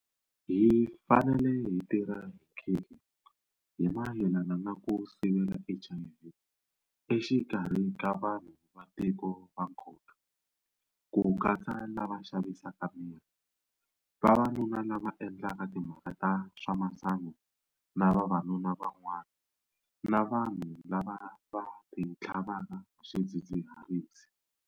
Hi fanele hi tirha hi nkhinkhi hi mayelana na ku sivela HIV exikarhi ka vanhu va tiko va nkoka, ku katsa lava xavisaka miri, vavanuna lava va endlaka timhaka ta swa masangu na vavanuna van'wana na vanhu lava va titlhavaka hi swidzidziharisi.